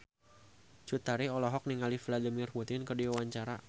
Cut Tari olohok ningali Vladimir Putin keur diwawancara